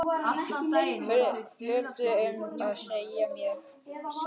Fullfær um að sjá um mig sjálf.